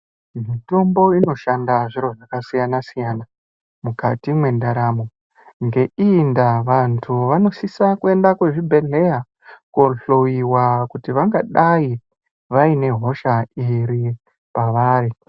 Mitombo inoshanda zviro zvakasiyanasiyana mukati mwendaramo ngeiyi ndaa vantu vanosisa kuende kuzvibhehleya kohloyiwa kuti vangadai vane hosha iri pavari.